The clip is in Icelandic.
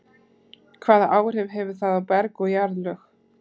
Hvaða áhrif hefur það á berg og jarðlög?